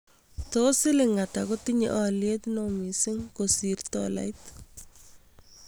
Tos' silingiit kotinye alyet ne oo miising' kosir - tolait